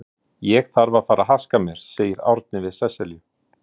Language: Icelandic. Ég þarf að fara að haska mér, segir Árni við Sesselju.